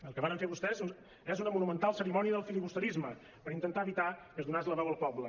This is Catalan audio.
el que varen fer vostès és una monumental cerimònia del filibusterisme per intentar evitar que es donàs la veu al poble